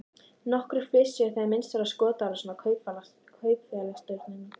Nokkrir flissuðu þegar minnst var á skotárásina á kaupfélagsstjórann.